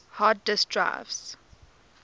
hard disk drives